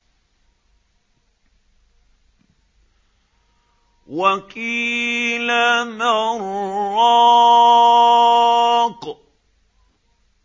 وَقِيلَ مَنْ ۜ رَاقٍ